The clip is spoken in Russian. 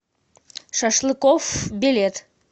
шашлыкоф билет